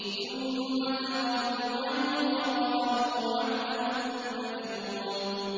ثُمَّ تَوَلَّوْا عَنْهُ وَقَالُوا مُعَلَّمٌ مَّجْنُونٌ